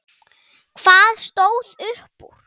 Hvað stóð upp úr?